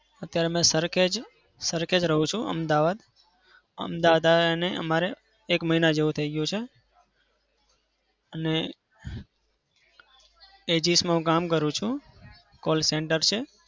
અત્યારે મેં સરખેજ સરખેજ રહું છું અમદાવાદ. અમદાવાદ આયા અને અમારે એક મહિના જેવું થઇ ગયું છે. અને માં હું કામ કરું છું. call center છે.